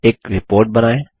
एक रिपोर्ट बनाएँ